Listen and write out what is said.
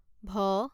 ভ